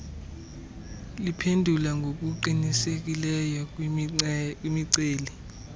liphendula ngokuqinisekileyo kwimiceli